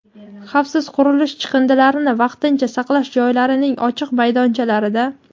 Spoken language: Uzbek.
xavfsiz qurilishi chiqindilarini vaqtincha saqlash joylarining ochiq maydonchalarida;.